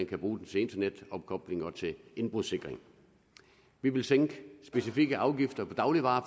kan bruge den til internetopkobling og til indbrudssikring vi ville sænke specifikke afgifter på dagligvarer